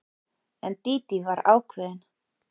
En Dídí var ákveðin.